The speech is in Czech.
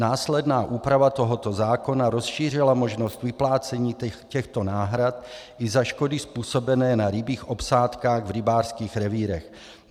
Následná úprava tohoto zákona rozšířila možnost vyplácení těchto náhrad i za škody způsobené na rybích obsádkách v rybářských revírech.